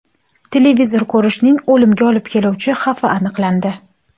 Televizor ko‘rishning o‘limga olib keluvchi xavfi aniqlandi.